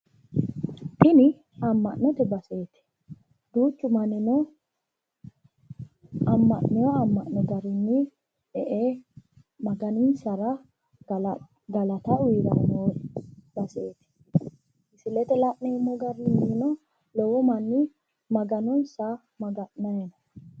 Tini amma'note baseeti duuchu mannino amma'neewo amma'no garinni e"e maganinsara galata uyiiranno baseeti, misileete la'neemmo garinnino lowo manni maganonsa maga'nanni no.